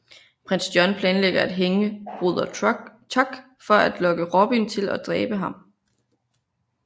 Prins John planlægger at hænge Broder Tuck for at lokke Robin til og dræbe ham